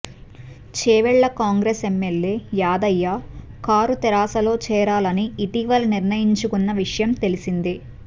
Chevella Congress MLA Yadaiah car తెరాసలో చేరాలని ఇటీవల నిర్ణయించుకున్న విషయం తెలిసిందే